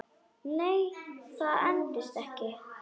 Nei, það endist ekki.